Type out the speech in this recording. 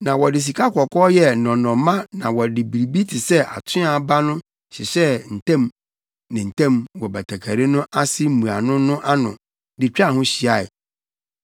Na wɔde sikakɔkɔɔ yɛɛ nnɔnnɔmma na wɔde biribi te sɛ atoaa aba no hyehyɛɛ ntam ne ntam wɔ batakari no ase mmuano no ano de twaa ho hyiae.